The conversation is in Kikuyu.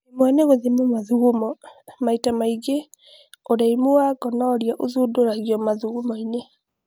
ĩmwe nĩ gũthima mathugumo. Maita maingĩ ,ũreimũ wa gonorrhea ũthundũragio mathugumoinĩ